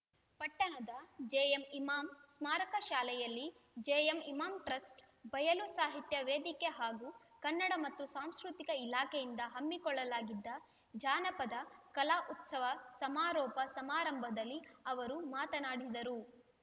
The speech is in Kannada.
ಪಟ್ಟಣದ ಜೆಎಂ ಇಮಾಂ ಸ್ಮಾರಕ ಶಾಲೆಯಲ್ಲಿ ಜೆಎಂ ಇಮಾಂ ಟ್ರಸ್ಟ್ ಬಯಲು ಸಾಹಿತ್ಯ ವೇದಿಕೆ ಹಾಗೂ ಕನ್ನಡ ಮತ್ತು ಸಾಂಸ್ಕೃತಿಕ ಇಲಾಖೆಯಿಂದ ಹಮ್ಮಿಕೊಳ್ಳಲಾಗಿದ್ದ ಜಾನಪದ ಕಲಾ ಉತ್ಸವ ಸಮಾರೋಪ ಸಮಾರಂಭದಲ್ಲಿ ಅವರು ಮಾತನಾಡಿದರು